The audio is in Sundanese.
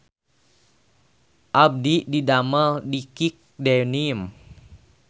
Abdi didamel di Kick Denim